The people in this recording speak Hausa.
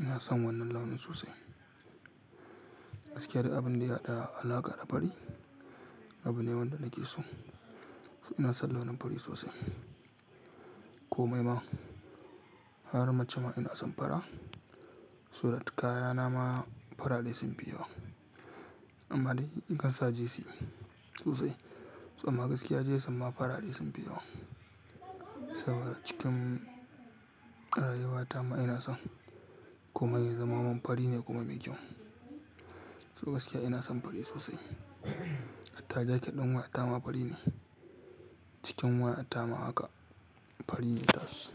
Ina son wannan launin sosai. Gaskiya duk abin da ya haɗa alaƙa da fari, abu ne wanda nake so. Ina son launin fari sosai. Komai ma, har mace ma ina son fara. So like kayana ma farare sun fi yawa. Amma dai in kan sa jesi sosai, so amma gaskiya jesi ma farare sun fi yawa. Saboda cikin rayuwata ma ina son komai ya zama min fari ne kuma mai kyau. To gaskiya ina son fari sosai. Hatta dai kiɗan waya ta ma fari ne. Cikin waya ta ma haka fari ne tas.